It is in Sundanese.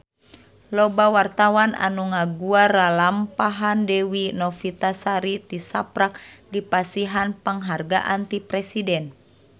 Loba wartawan anu ngaguar lalampahan Dewi Novitasari tisaprak dipasihan panghargaan ti Presiden